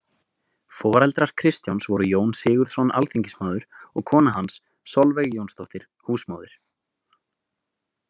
Foreldrar Kristjáns voru Jón Sigurðsson alþingismaður og kona hans Solveig Jónsdóttir, húsmóðir.